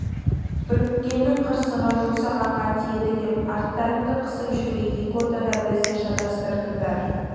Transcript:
үріккеннің қырсығы жусағанға тиеді деп арттарыңды қысып жүрмей екі ортада бізді шатастырдыңдар